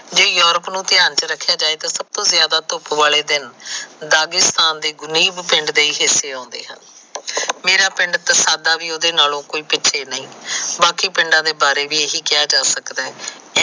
ਜੇ ਜੋਰਪ ਨੂੰ ਧਿਆਨ ਚ ਰੱਖਿਆ ਜਾਏ ਤਾ ਸੱਭ ਤੋ ਜਿਆਦਾ ਧੁੱਪ ਵਾਲੇ ਪਿੰਡ ਦੇ ਹੀ ਹਿਸੇ ਆਉਂਦੇ ਹਨ ਮੇਰਾ ਪਿੰਡ ਤਸਾਦਾ ਵੀ ਕੋਈ ਉਹਦੇ ਕੋਲੋ ਪਿਛੇ ਨਹੀ ਬਾਕੀ ਪਿੰਡਾ ਦੇ ਬਾਰੇ ਵੀ ਇਹੀ ਕਿਹਾ ਜਾ ਸਕਦਾ ਐ